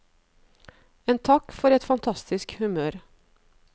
En takk for et fantastisk humør.